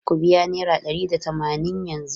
Ku biya naira ɗari da tamanin yanzu!